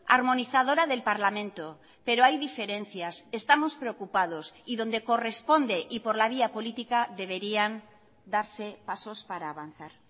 armonizadora del parlamento pero hay diferencias estamos preocupados y donde corresponde y por la vía política deberían darse pasos para avanzar